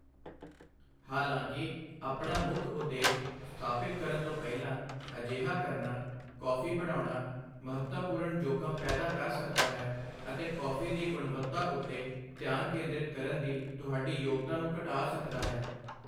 ਹਾਲਾਂਕਿ, ਆਪਣਾ ਮੁੱਖ ਉਦੇਸ਼ ਸਥਾਪਿਤ ਕਰਨ ਤੋਂ ਪਹਿਲਾਂ ਅਜਿਹਾ ਕਰਨਾ, ਕੌਫੀ ਬਣਾਉਣਾ, ਮਹੱਤਵਪੂਰਣ ਜੋਖਮ ਪੈਦਾ ਕਰ ਸਕਦਾ ਹੈ ਅਤੇ ਕੌਫੀ ਦੀ ਗੁਣਵੱਤਾ ਉੱਤੇ ਧਿਆਨ ਕੇਂਦ੍ਰਿਤ ਕਰਨ ਦੀ ਤੁਹਾਡੀ ਯੋਗਤਾ ਨੂੰ ਘਟਾ ਸਕਦਾ ਹੈ।